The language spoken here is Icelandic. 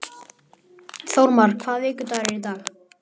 Þórmar, hvaða vikudagur er í dag?